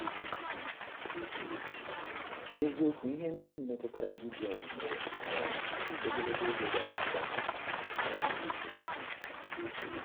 N’eziokwu, ihe ndị ahụ metụtara Gidiọn mere um ogologo oge gara aga um.